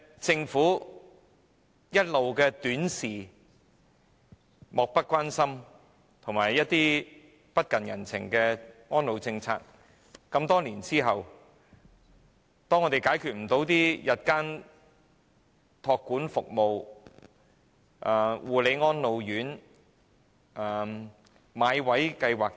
政府一直以短視、漠不關心及不近人情的態度處理安老政策，在多年之後也無法解決日間託管服務、護理安老院、"買位計劃"等問題。